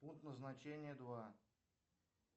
пункт назначения два